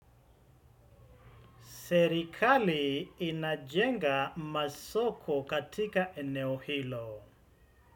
Serikali inajenga masoko katika eneo hilo.